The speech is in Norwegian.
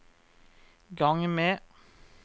gang med